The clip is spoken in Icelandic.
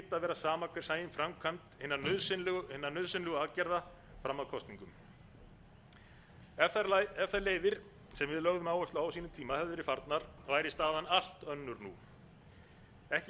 sama hver sæi um framkvæmd hinna nauðsynlegu aðgerða fram að kosningum ef þær leiðir sem við lögðum áherslu á á sínum tíma hefðu verið farnar væri staðan allt önnur nú ekki